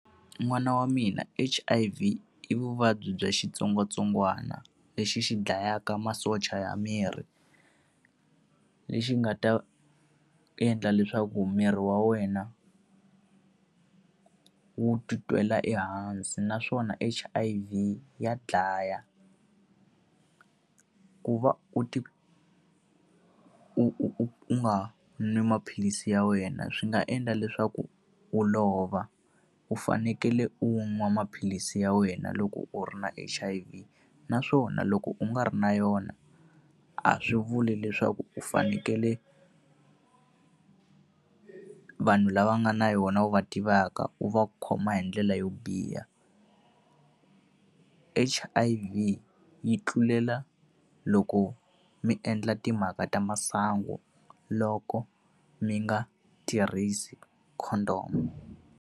N'wana wa mina H_I_V i vuvabyi bya xitsongwatsongwana lexi xi dlayaka masocha ya miri, lexi nga ta endla leswaku miri wa wena ku wu titwela ehansi naswona H_I_V ya dlaya. Ku va u u u u nga n'wi maphilisi ya wena swi nga endla leswaku u lova, u fanekele u nwa maphilisi ya wena loko u ri na H_I_V. Naswona loko u nga ri na yona, a swi vuli leswaku u fanekele vanhu lava nga na yona wu va tivaka wu va khoma hi ndlela yo biha. H_I_V yi tlulela loko mi endla timhaka ta masangu loko mi nga tirhisi condom.